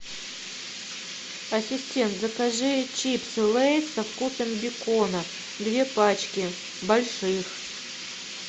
ассистент закажи чипсы лейс со вкусом бекона две пачки больших